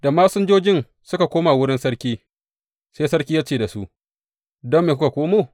Da masinjojin suka koma wurin sarki, sai sarki ya ce da su, Don me kuka komo?